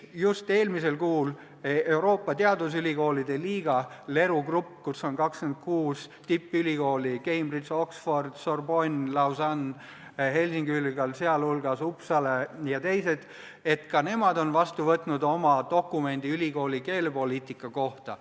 Just eelmisel kuul võttis Euroopa Teadusülikoolide Liiga , kuhu kuulub 26 tippülikooli – Cambridge'i, Oxfordi, Sorbonne'i, Lausanne'i, Helsingi ülikool, sh Uppsala –, vastu dokumendi ülikooli keelepoliitika kohta.